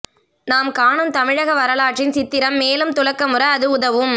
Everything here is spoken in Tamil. நாம் காணும் தமிழக வரலாற்றின் சித்திரம் மேலும் துலக்கமுற அது உதவும்